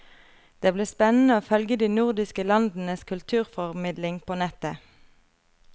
Det blir spennende å følge de nordiske landenes kulturformidlingen på nettet.